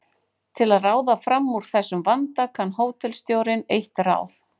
Til að ráða fram úr þessum vanda kann hótelstjórinn eitt ráð.